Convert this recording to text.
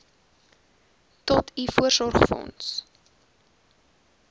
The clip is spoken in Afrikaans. tot u voorsorgsfonds